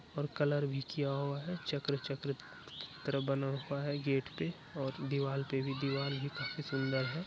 और कलर भी किया हुआ है चक्र-चक्र की त-तरह हुआ है गेट पे और दीवाल पे भी दीवाल काफी सुन्दर है।